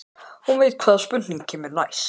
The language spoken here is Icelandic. Hún veit hvaða spurning kemur næst.